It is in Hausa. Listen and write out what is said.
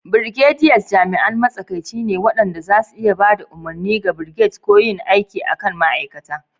Brigadiers jami'an matsakaici ne waɗanda za su iya ba da umarni ga brigades ko yin aiki a kan ma'aikata.